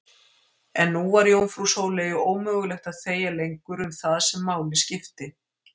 En nú var jómfrú Sóleyju ómögulegt að þegja lengur um það sem máli skipti.